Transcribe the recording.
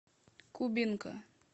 кубинка